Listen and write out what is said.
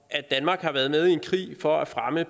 at danmark har været med i en krig for at fremme